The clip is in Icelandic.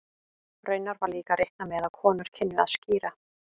Raunar var líka reiknað með að konur kynnu að skíra.